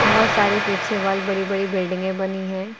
बहुत सारी पीछे वॉल बड़ी बड़ी बिल्डिंगें बनी हैं।